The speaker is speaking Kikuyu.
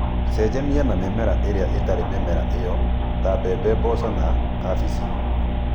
Cenjania na mĩmera ĩrĩa ĩtarĩ mĩmera ĩyo, ta mbembe, mboco na cabici.